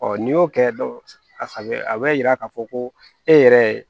n'i y'o kɛ a bɛ a bɛ yira k'a fɔ ko e yɛrɛ ye